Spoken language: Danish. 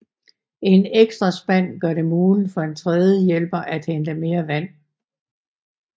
En ekstra spand gør det muligt for en tredje hjælper at hente mere vand